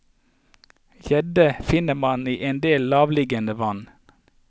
Gjedde finner man i endel lavereliggende vann.